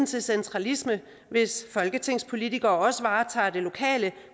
til centralisme hvis folketingspolitikere også varetager det lokale